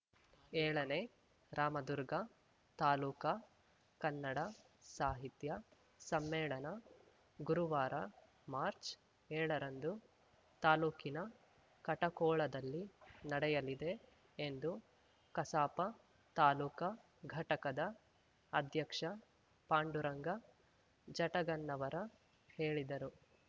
ಏಳನೇ ರಾಮದುರ್ಗ ತಾಲೂಕಾ ಕನ್ನಡ ಸಾಹಿತ್ಯ ಸಮ್ಮೇಳನ ಗುರುವಾರ ಮಾರ್ಚ್ ಏಳ ರಂದು ತಾಲೂಕಿನ ಕಟಕೋಳದಲ್ಲಿ ನಡೆಯಲಿದೆ ಎಂದು ಕಸಾಪ ತಾಲೂಕಾ ಘಟಕದ ಅಧ್ಯಕ್ಷ ಪಾಂಡುರಂಗ ಜಟಗನ್ನವರ ಹೇಳಿದರು